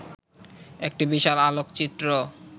একটি বিশাল আলোকচিত্র